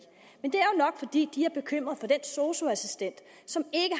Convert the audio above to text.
nok fordi de er bekymrede for den sosu assistent som